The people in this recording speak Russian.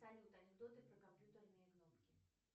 салют анекдоты про компьютерные кнопки